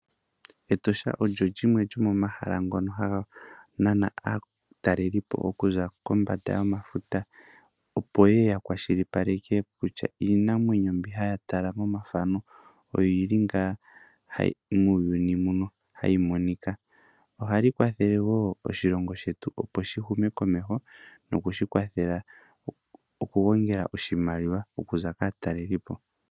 Etosha olyo limwe lyomomahala ngono haga nana aataleli po oku za kombanda yomafuta, opo yeye ya kwashilipaleke kutya iinamwenyo mbi haya tala momathano oyili ngaa muuyununi muno hayi monika. Ohali kwathele wo oshilongo shetu opo shi hume komeho nokushi kwathela oku gongela oshimaliwa okuza kaataleli po.